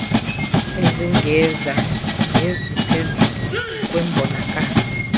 ezingezantsi neziphezulu kwimbonakaliso